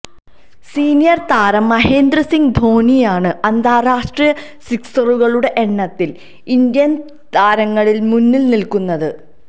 senior താരം മഹേന്ദ്ര സിംഗ് ധോണിയാണ് അന്താരാഷ്ട്ര സിക്സുകളുടെ എണ്ണത്തിൽ ഇന്ത്യൻ താരങ്ങളിൽ മുന്നിട്ട് നിൽക്കുന്നത്